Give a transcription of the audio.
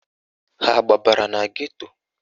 Ha agbabara na geto?